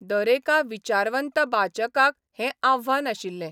दरेका विचारवंत बाचकाक हे आव्हान आशिल्लें.